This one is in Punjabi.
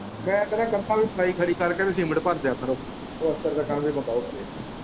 ਮੈਂ ਕਹਿਣਾ ਕੰਧਾਂ ਦੀ ਪਿਲਾਈ ਖੜੀ ਕਰਕੇ ਤੇ ਸੀਮਿੰਟ ਭਰਦੇ ਆ ਆਪਣੇ ਪਲੱਸਤਰ ਦਾ ਕੰਮ ਵੀ ਮੁਕਾਓ ਫੇਰ।